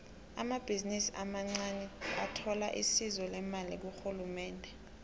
amabhizinisi amancaniathola isizo lemali kurhulumende